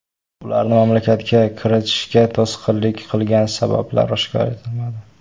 Ularni mamlakatga kiritishga to‘sqinlik qilgan sabablar oshkor qilinmadi.